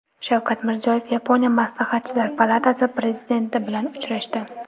Shavkat Mirziyoyev Yaponiya Maslahatchilar palatasi prezidenti bilan uchrashdi.